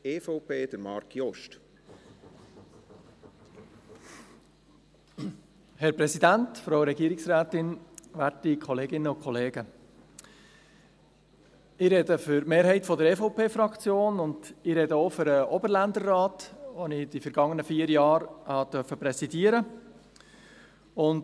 Ich spreche für die Mehrheit der EVP-Fraktion, und ich spreche auch für den Oberländerrat, den ich in den vergangenen vier Jahren präsidieren durfte.